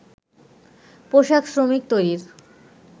পোশাক শ্রমিক তৈরির